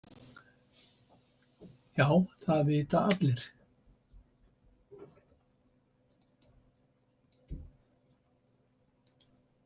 Já það vita allir.